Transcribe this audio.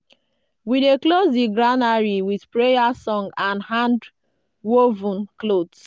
we dey close di granary with prayer song and hand-woven cloth.